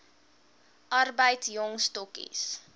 arbeid jong stokkies